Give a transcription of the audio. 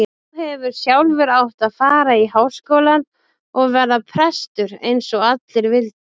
Þú hefðir sjálfur átt að fara í Háskólann og verða prestur eins og allir vildu.